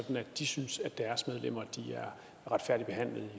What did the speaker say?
at de synes at deres medlemmer er retfærdigt behandlet i